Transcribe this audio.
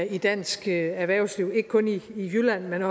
i dansk erhvervsliv ikke kun i jylland men